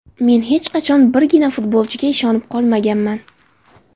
Men hech qachon birgina futbolchiga ishonib qolmaganman.